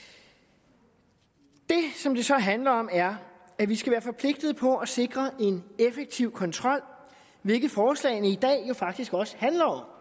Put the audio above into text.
det som det så handler om er at vi skal være forpligtet på at sikre en effektiv kontrol hvilket forslagene i dag jo faktisk også handler om